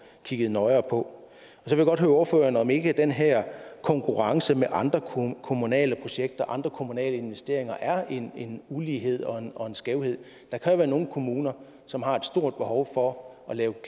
kigget nøjere på jeg vil godt høre ordføreren om ikke den her konkurrence med andre kommunale projekter andre kommunale investeringer er en ulighed og og en skævhed der kan jo være nogle kommuner som har stort behov for at lave